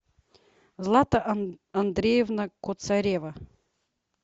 злата андреевна коцарева